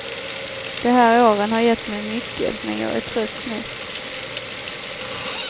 De här åren har gett mig mycket, men jag är trött nu.